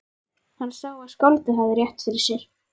Hann sá að skáldið hafði rétt fyrir sér.